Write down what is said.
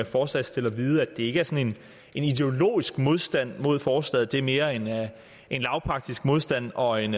forslagsstiller vide at det ikke er sådan en ideologisk modstand mod forslaget det er mere en lavpraktisk modstand og en